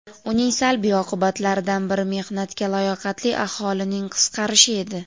Uning salbiy oqibatlaridan biri mehnatga layoqatli aholining qisqarishi edi.